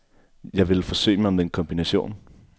Jeg ville forsøge mig med en kombination.